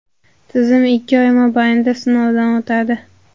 Tizim ikki oy mobaynida sinovdan o‘tadi.